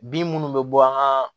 Bin minnu bɛ bɔ an ka